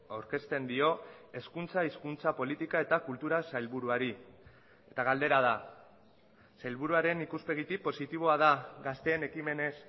aurkezten dio hezkuntza hizkuntza politika eta kultura sailburuari eta galdera da sailburuaren ikuspegitik positiboa da gazteen ekimenez